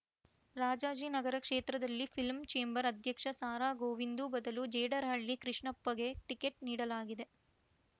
ರಾಜಾಜಿನಗರ ಕ್ಷೇತ್ರದಲ್ಲಿ film chamber ಅಧ್ಯಕ್ಷ ಸಾರಾಗೋವಿಂದು ಬದಲು ಜೇಡರಹಳ್ಳಿ ಕೃಷ್ಣಪ್ಪಗೆ ಟಿಕೆಟ್‌ ನೀಡಲಾಗಿದೆ